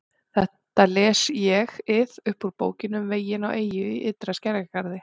Þetta les ÉG-ið upp úr Bókinni um veginn á eyju í ytri skerjagarði